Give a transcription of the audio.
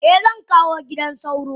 Eh zankawo gidan sauro.